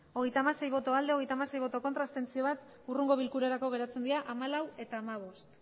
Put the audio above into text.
hogeita hamasei bai hogeita hamasei ez bat abstentzio hurrengo bilkurarako geratzen dira hamalaugarrena eta hamabost